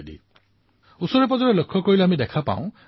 আৰু বিচাৰে যে তেওঁলোকৰ সন্তানেও যাতে চিগাৰেট বিড়িৰ কবলত নপৰে